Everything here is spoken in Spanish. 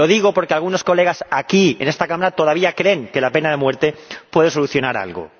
Y lo digo porque algunos diputados de esta Cámara todavía creen que la pena de muerte puede solucionar algo.